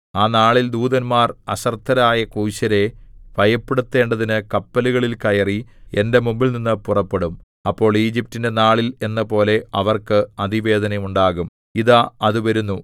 ആ നാളിൽ ദൂതന്മാർ അശ്രദ്ധരായ കൂശ്യരെ ഭയപ്പെടുത്തേണ്ടതിന് കപ്പലുകളിൽ കയറി എന്റെ മുമ്പിൽനിന്നു പുറപ്പെടും അപ്പോൾ ഈജിപ്റ്റിന്റെ നാളിൽ എന്നപോലെ അവർക്ക് അതിവേദന ഉണ്ടാകും ഇതാ അത് വരുന്നു